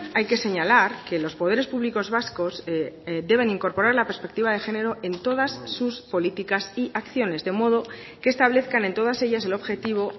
hay que señalar que los poderes públicos vascos deben incorporar la perspectiva de género en todas sus políticas y acciones de modo que establezcan en todas ellas el objetivo